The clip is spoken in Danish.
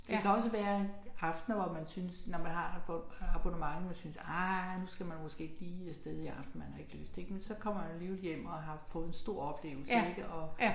Det kan også være at aftener hvor man synes når man har abonnement og synes ah nu skal man måske ikke lige af sted i aften man har ikke lyst ik men så kommer man alligevel hjem og har fået en stor oplevelse ik og